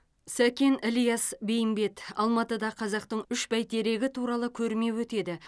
сәкен ілияс бейімбет алматыда қазақтың үш бәйтерегі туралы көрме өтеді